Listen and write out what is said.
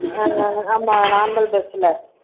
நம்ம normal bus ல